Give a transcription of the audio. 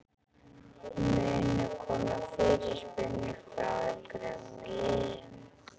Munu koma fyrirspurnir frá einhverjum liðum?